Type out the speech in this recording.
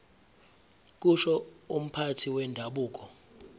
kusho umphathi wendabuko